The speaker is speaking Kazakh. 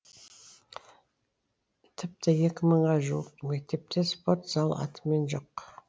тіпті екі мыңға жуық мектепте спорт зал атымен жоқ